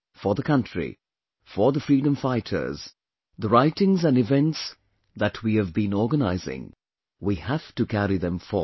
For the country, for the freedom fighters, the writings and events that we have been organising, we have to carry them forward